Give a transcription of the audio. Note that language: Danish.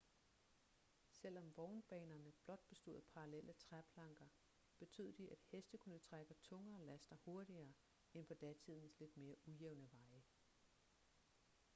selvom vognbanerne blot bestod af parallelle træplanker betød de at heste kunne trække tungere laster hurtigere end på datidens lidt mere ujævne veje